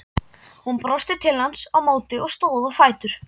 Hún brosti til hans á móti og stóð á fætur.